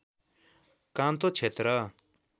कान्तो क्षेत्र